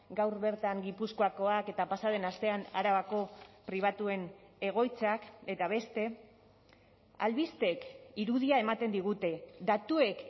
gaur bertan gipuzkoakoak eta pasa den astean arabako pribatuen egoitzak eta beste albisteek irudia ematen digute datuek